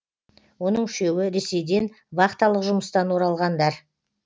оның үшеуі ресейден вахталық жұмыстан оралғандар